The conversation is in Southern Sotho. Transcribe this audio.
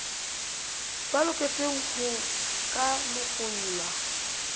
ba loketseng ho ka lekolwa